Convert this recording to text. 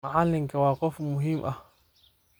Macalinka wa qof muhim ah.